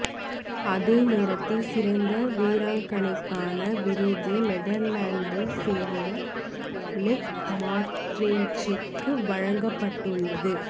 அதேநேரம் சிறந்த வீராங்கனைக்கான விருது நெதர்லாந்தினைச் சேர்ந்த லேக் மார்ரென்சுக்கு வழங்கப்பட்டுள்ளது